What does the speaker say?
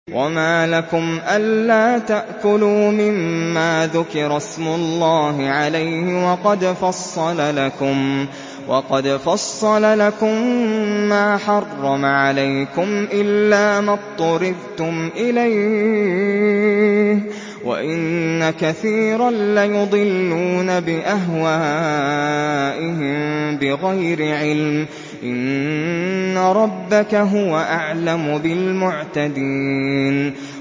وَمَا لَكُمْ أَلَّا تَأْكُلُوا مِمَّا ذُكِرَ اسْمُ اللَّهِ عَلَيْهِ وَقَدْ فَصَّلَ لَكُم مَّا حَرَّمَ عَلَيْكُمْ إِلَّا مَا اضْطُرِرْتُمْ إِلَيْهِ ۗ وَإِنَّ كَثِيرًا لَّيُضِلُّونَ بِأَهْوَائِهِم بِغَيْرِ عِلْمٍ ۗ إِنَّ رَبَّكَ هُوَ أَعْلَمُ بِالْمُعْتَدِينَ